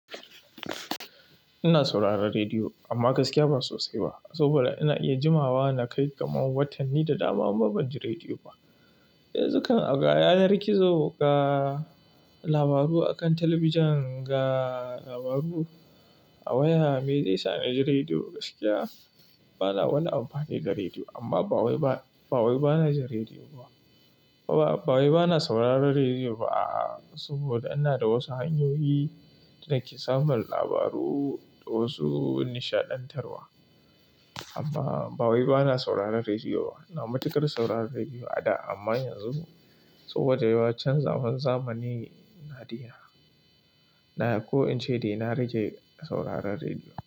Ina sauraron rediyo amma gaskiya ba sosai ba. Saboda ina iya jimawa nakai kamar watanni da dama banji rediyo ba yanzu kan a ga yanar gizo ga labaru a kan talabijin ga labaru a waya. Me zai sa na ji rediyo? Gaskiya bana wani amfani da rediyo amma ba wai bana ji rediyo ba. Baba, ba wai bana sauraron rediyo ba, a'a. Saboda ina da wasu hanyoyi da nake samun labaru da wasu nishaɗantarwa. Amma ba wai bana sauraron rediyo ba. Ina matukar sauraron rediyo a da amma yanzu saboda yawa canzawar zamani na yi, ko in ce dai na rage sauraron rediyo.